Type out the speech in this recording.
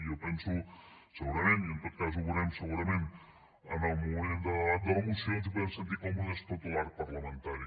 jo penso que segurament i en tot cas ho veurem segurament en el moment de debat de la moció ens hi podem sentir còmodes tot l’arc parlamentari